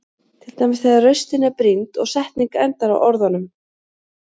Til dæmis þegar raustin er brýnd og setning endar á orðunum.